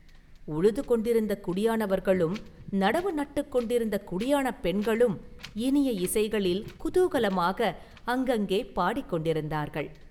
உழுது கொண்டிருந்த குடியானவர்களும் நடவு நட்டுக் கொண்டிருந்த குடியானப் பெண்களும் இனிய இசைகளில் குதூகலமாக அங்கங்கே பாடிக் கொண்டிருந்தார்கள்.